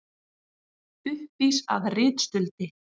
Uppvís að ritstuldi